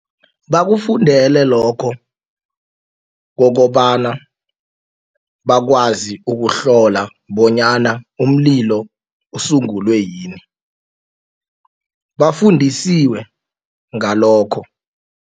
Bakufundele lokho kokobana bakwazi ukuhlola bonyana umlilo usungulwe yini bafundisiwe ngalokho.